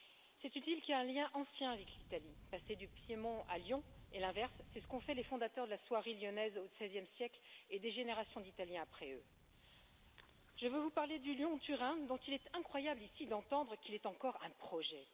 C'est une ville qui a un lien ancien avec l'Italie passer du Piémont à Lyon, et l'inverse, c'est ce qu'ont fait les fondateurs de la soierie lyonnaise au XVIe siècle et des générations d'Italiens après eux. Je veux vous parler du Lyon Turin, dont il est incroyable ici d'entendre qu'il est encore un projet.